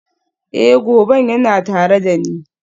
Ee, zoben yana tare da ni.